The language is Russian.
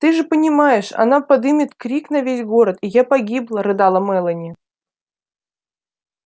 ты же понимаешь она подымет крик на весь город и я погибла рыдала мелани